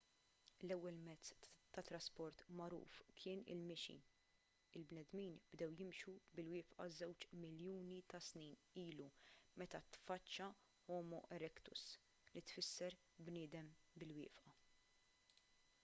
l-ewwel mezz tat-trasport magħruf kien il-mixi il-bnedmin bdew jimxu bil-wieqfa żewġ miljuni ta’ snin ilu meta tfaċċa homo erectus li tfisser bniedem bil-wieqfa